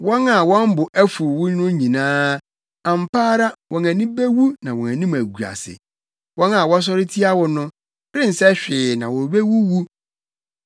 “Wɔn a wɔn bo afuw wo no nyinaa, ampa ara wɔn ani bewu na wɔn anim agu ase; wɔn a wɔsɔre tia wo no rensɛ hwee na wobewuwu.